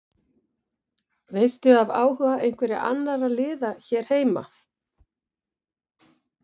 Veistu af áhuga einhverra annarra liða hér heima?